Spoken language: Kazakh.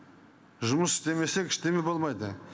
жұмыс істемесек болмайды